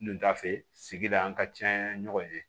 Dunda fɛ sigida ka ca ɲɔgɔn ye